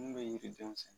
Mun bɛ yiri den sɛ